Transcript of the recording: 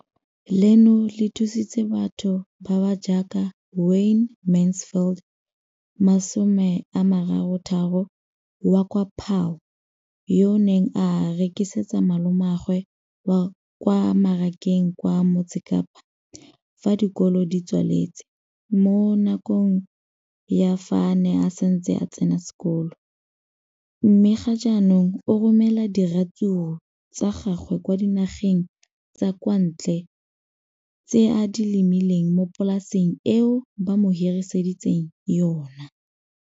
leno le thusitse batho ba ba jaaka Wayne Mansfield, 33, wa kwa Paarl, yo a neng a rekisetsa malomagwe kwa Marakeng wa Motsekapa fa dikolo di tswaletse, mo nakong ya fa a ne a santse a tsena sekolo, mme ga jaanong o romela diratsuru tsa gagwe kwa dinageng tsa kwa ntle tseo a di lemileng mo polaseng eo ba mo hiriseditseng yona.